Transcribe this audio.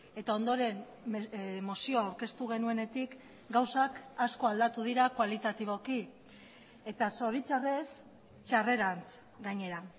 eta ondoren mozioa aurkeztu genuenetik gauzak asko aldatu dira kualitatiboki eta zoritxarrez txarrerantz gainera